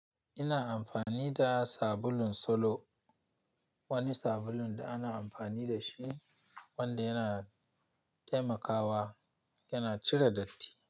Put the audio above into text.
Ina amfani da sabulun solo, wani sabulun da ana amfani da shi wanda yana taimakawa yana cire datti.